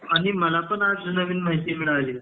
आणि मला पण आज नवीन माहिती मिळाली आहे